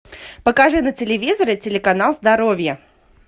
покажи на телевизоре телеканал здоровье